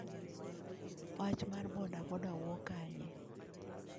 Wach mar Boda Boda wuok kanye?